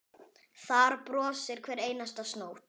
Þar brosir hver einasta snót.